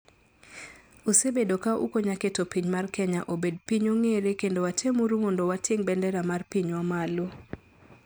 Usebedo ka ukonya keto piny mar kenya obed piny ong'ere kendo watem uru mondo wating bendera mar pinywa malo.